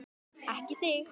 Ekki þig!